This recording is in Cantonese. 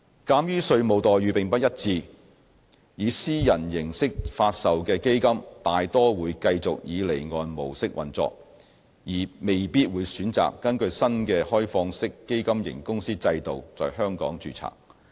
鑒於稅務待遇不一致，以私人形式發售的基金大多數會繼續以離岸模式運作，而未必會選擇根據新的開放式基金型公司制度在香港註冊。